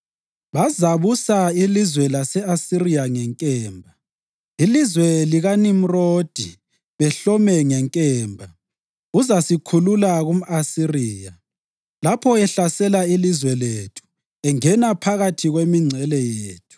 Bazabusa ilizwe lase-Asiriya ngenkemba, ilizwe likaNimrodi behlome ngenkemba, uzasikhulula kumʼAsiriya lapho ehlasela ilizwe lethu engena phakathi kwemingcele yethu.